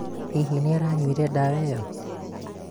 hihi nĩaranyuire ndawa ĩyo?